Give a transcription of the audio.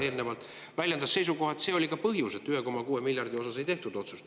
… eelnevalt ja väljendas seisukohta, et see oli ka põhjus, miks 1,6 miljardi osas ei tehtud otsust.